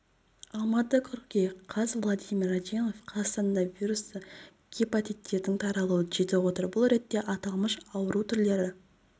алматы қыркүйек қаз владимир радионов қазақстанда вирусты гепаттиттердің таралуы жетіп отыр бұл ретте аталмыш ауру түрлері